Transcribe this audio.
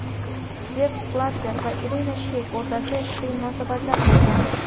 Zepp Blatter va Irina Sheyk o‘rtasida ishqiy munosabatlar bo‘lgan.